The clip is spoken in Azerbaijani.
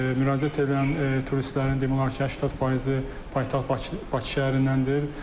Müraciət eləyən turistlərin demək olar ki, 80 faizi paytaxt Bakı şəhərindəndir.